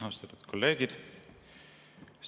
Austatud kolleegid!